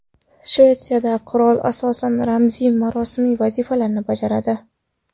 Shvetsiyada qirol asosan ramziy-marosimiy vazifalarni bajaradi.